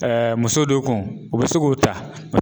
muso do kun o bi se k'o ta